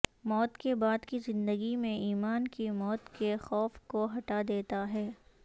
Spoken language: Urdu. موت کے بعد کی زندگی میں ایمان کی موت کے خوف کو ہٹا دیتا ہے